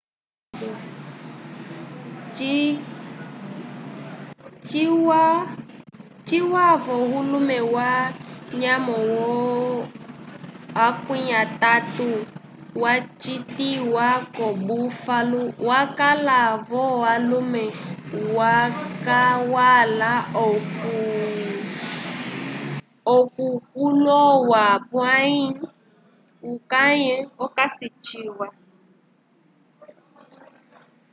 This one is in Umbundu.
cikwavoulume ya nyamo ye 30 wacitiwa ko buffalo wakala vo ulume wakwala ko kuloya pwai ukayi okasi ciwa